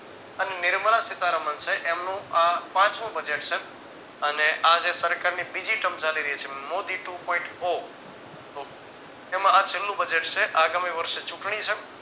અને નિર્મલા સીતારામન છે એમનું આ પાંચમું Budget છે. અને આ જે સરકારની બીજી term ચાલી રહી છે મોદી two point four એમાં આ છેલ્લું budget છે આગામી વર્ષે ચૂંટણી છે.